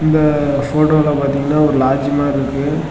இந்த போட்டோல பார்த்தீங்கன்னா ஒரு லாட்ஜ் மாறி இருக்கு.